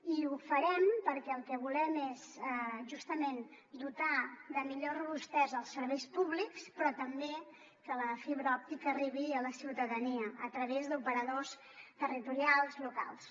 i ho farem perquè el que volem és justament dotar de millor robustesa els serveis públics però també que la fibra òptica arribi a la ciutadania a través d’operadors territorials locals